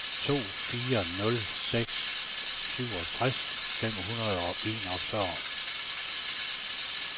to fire nul seks syvogtres fem hundrede og enogfyrre